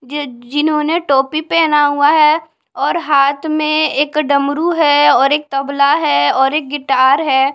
ये जिन्होंने टोपी पहना हुआ है और हाथ में एक डमरू है और एक तबला है और एक गिटार है।